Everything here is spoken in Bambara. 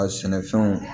A sɛnɛfɛnw